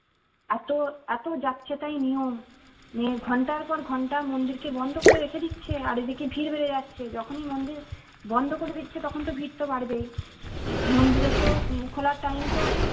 এতো এতো যাচ্ছেতাই নিয়ম উম এর ঘন্টার পর ঘন্টা মন্দির কে বন্ধ করে রেখে দিচ্ছে আর এদিকে ভীড় বেড়ে যাচ্ছে যখনি মন্দির বন্ধ করে দিচ্ছে তখন ভিড় তো বাড়বেই মন্দিরে তো উম খোলা টাইম তো